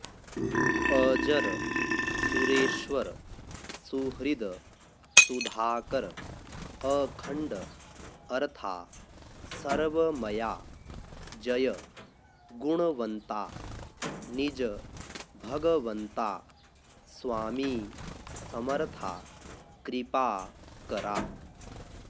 अजर सुरेश्वर सुहृद सुधाकर अखंड अर्था सर्वमया जय गुणवंता निज भगवंता स्वामी समर्था कृपाकरा